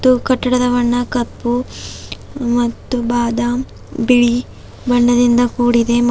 ಹಾಗು ಕಟ್ಟಡದ ಬಣ್ಣ ಕಪ್ಪು ಮತ್ತು ಬಾದಾಮ ಬಿಳಿ ಬಣ್ಣದಿಂದ ಕೂಡಿದೆ.